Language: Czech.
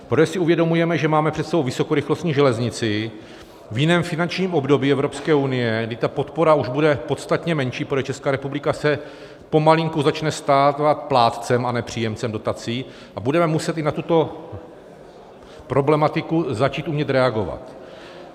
Protože si uvědomujeme, že máme před sebou vysokorychlostní železnici v jiném finančním období Evropské unie, kdy podpora už bude podstatně menší, protože Česká republika se pomalinku začne stávat plátcem, a ne příjemcem dotací, a budeme muset i na tuto problematiku začít umět reagovat.